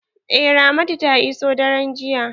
Eh ramatu ta iso daren jiya.